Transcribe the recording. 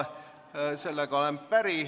Sellega olen päri.